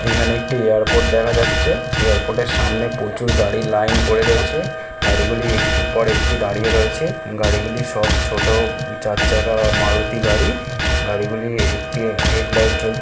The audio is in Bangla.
এখানে একটি এয়ারপোর্ট দেখা যাচ্ছে এয়ারপোর্ট -এর সামনে প্রচুর গাড়ির লাইন পড়ে রয়েছে গাড়ি গুলি একটি পর একটি দাঁড়িয়ে রয়েছে গাড়ি গুলি সব ছোট চার চাকা মারুতি গাড়ি গাড়ি গুলি একটি হেড লাইট জ্বলছে।